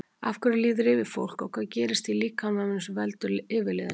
Af hverju líður yfir fólk og hvað gerist í líkamanum sem veldur yfirliðinu?